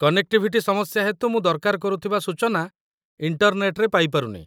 Connectivity ସମସ୍ୟା ହେତୁ ମୁଁ ଦରକାର କରୁଥିବା ସୂଚନା ଇଣ୍ଟର୍ନେଟରେ ପାଇପାରୁନି।